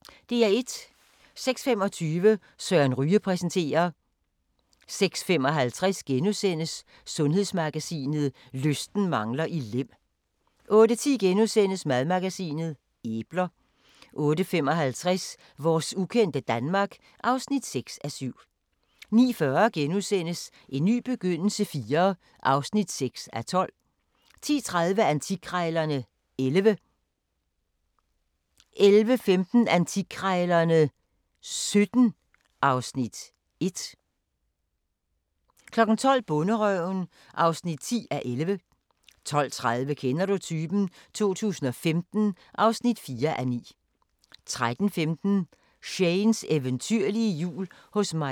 06:25: Søren Ryge præsenterer 06:55: Sundhedsmagasinet: Lysten mangler i Lem * 08:10: Madmagasinet: Æbler * 08:55: Vores ukendte Danmark (6:7) 09:40: En ny begyndelse IV (6:12)* 10:30: Antikkrejlerne XI 11:15: Antikkrejlerne XVII (Afs. 1) 12:00: Bonderøven (10:11) 12:30: Kender du typen? 2015 (4:9) 13:15: Shanes eventyrlige jul hos Maise Njor